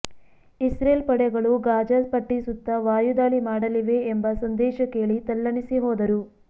Israel ಪಡೆಗಳು Gaza ಪಟ್ಟಿ ಸುತ್ತ ವಾಯುದಾಳಿ ಮಾಡಲಿವೆ ಎಂಬ ಸಂದೇಶ ಕೇಳಿ ತಲ್ಲಣಿಸಿ ಹೋದರು